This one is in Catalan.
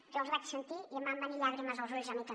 jo els vaig sentir i em van venir llàgrimes als ulls a mi també